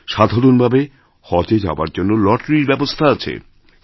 সাধারণভাবে হজএ যাওয়ার জন্য লটারির ব্যবস্থা আছে